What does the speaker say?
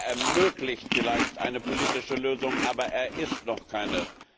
Er ermöglicht vielleicht eine politische Lösung, aber er ist noch keine.